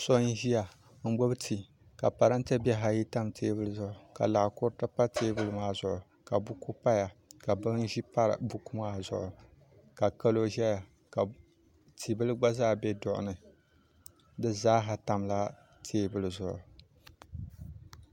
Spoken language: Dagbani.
So n-ʒiya n-ɡbubi tii ka parante bihi ayi tam teebuli zuɣu ka laɣ' kuruti pa teebuli maa zuɣu ka buku paya ka bin' ʒi pa buku maa zuɣu ka kalo ʒiya ka ti' bila ɡba zaa be duɣu ni di zaa ha tamla teebuli zuɣu